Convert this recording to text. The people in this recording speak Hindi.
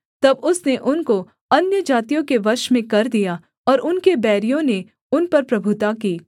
तब उसने उनको अन्यजातियों के वश में कर दिया और उनके बैरियों ने उन पर प्रभुता की